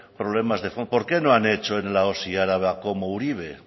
problemas de fondo por qué no han hecho en la osi araba como uribe